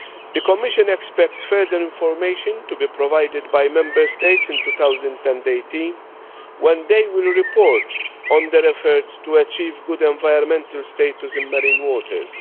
The Commission expects further information to be provided by Member States in 2018, when they will report on their efforts to achieve good environmental status in marine waters.